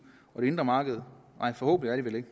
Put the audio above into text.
og det indre marked nej forhåbentlig